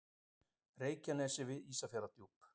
Reykjanesi við Ísafjarðardjúp.